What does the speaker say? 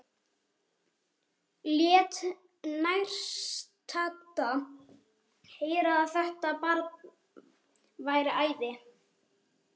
Lét nærstadda heyra að þetta barn væri æði.